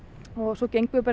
og svo gengum við bara